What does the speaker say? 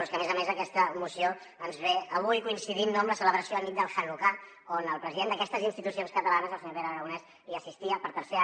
però és que a més a més aquesta moció ens ve avui coincidint no amb la celebració anit del hanukkà on el president d’aquestes institucions catalanes el senyor pere aragonès hi assistia per tercer any